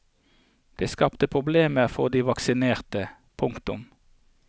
Det skapte problemer for de vaksinerte. punktum